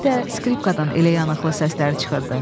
İndi də skripkadan elə yanıqlı səslər çıxırdı.